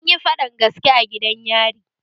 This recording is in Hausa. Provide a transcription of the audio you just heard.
Anyi faɗan gaske a gidan yari